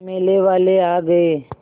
मेले वाले आ गए